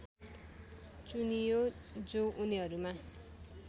चुनियो जो उनीहरूमा